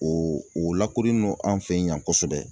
O o lakodɔnnen no an fɛ yan kosɛbɛ